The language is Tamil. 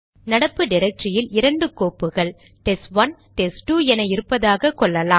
நடப்பு டிரக்டரியில் இரண்டு கோப்புகள் டெஸ்ட்1 டெஸ்ட்2 என இருப்பதாக கொள்ளலாம்